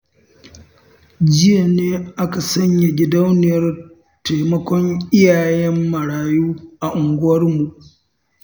Jiya ne aka sanya gidauniyar taimakon iyayen marayu a unguwarmu